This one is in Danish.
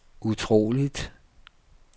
utroligt